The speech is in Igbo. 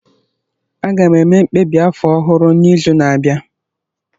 Aga m eme mkpebi afọ ọhụrụ n'izu na-abịa